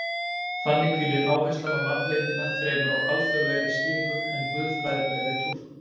Þannig hvílir áherslan á nafnleyndina fremur á alþýðlegri skýringu en guðfræðilegri túlkun.